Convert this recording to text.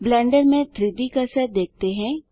blender में three D cursor देखते हैं